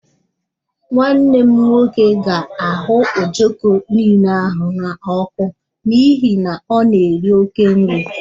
Nwanne m nwoke ga-ahụ ojoko niile ahụ n'ọkụ n'ihi na ọ na-eri oke nri